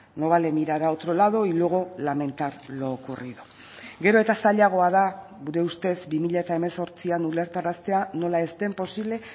no vale mirar a otro lado y luego lamentar lo ocurrido gero eta zailagoa da gure ustez bi mila hemezortzian ulertaraztea nola ez den posible